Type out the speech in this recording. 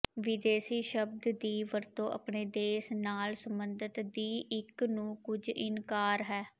ਵਿਦੇਸ਼ੀ ਸ਼ਬਦ ਦੀ ਵਰਤੋ ਆਪਣੇ ਦੇਸ਼ ਨਾਲ ਸਬੰਧਤ ਦੀ ਇੱਕ ਨੂੰ ਕੁਝ ਇਨਕਾਰ ਹੈ